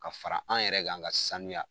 Ka fara an yɛrɛ kan ga sanuya